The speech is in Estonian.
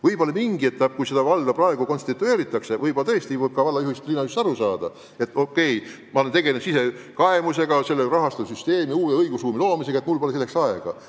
Võib-olla mingis etapis, kui valda alles ehitatakse üles, tõesti võib uue valla juhist aru saada, kui ta väidab, et ta alles tegeleb sisekaemusega, loob rahastussüsteemi ja uut õigusruumi ja tal pole muuks aega.